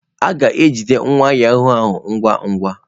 A ga-ejide nwa yahụụ ahụ ngwa ngwa.